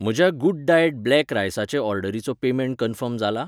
म्हज्या गुड्डायॅट ब्लॅक रायसाचे ऑर्डरीचो पेमेंट कन्फर्म जाला?